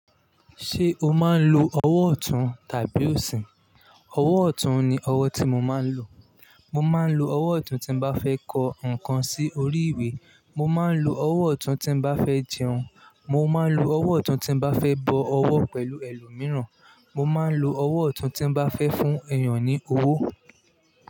Ṣé o máa ń lo ọwọ́ ọ̀tún tàbí òsìn? Ọwọ́ ọ̀tún ni ọwọ́ tí mo máa ń lò. Mo máa ń lo ọwọ́ ọ̀tún tí bá fẹ́ kọ nnkan sí orí ìwé. Mo máa ń lo ọwọ́ ọ̀tún tí bá fẹ́ jẹun. Mo máa ń lo ọwọ́ ọ̀tún tí bá fẹ́ bọ ọwọ́ pẹ̀lú ẹlòmíràn. Mo máa ń lo ọwọ́ ọ̀tún tí bá fẹ́ fún èèyàn ní owó.